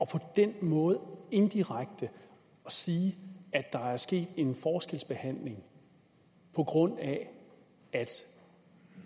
på den måde indirekte siger at der er sket en forskelsbehandling på grund af at